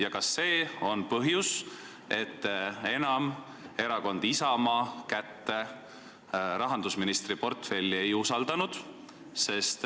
Ja kas see on põhjus, et te enam erakonna Isamaa kätte rahandusministri portfelli ei usaldanud?